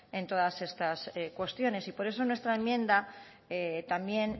en todas estas cuestiones y por eso en nuestra enmienda también